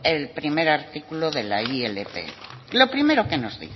el primer artículo de la ilp lo primero que nos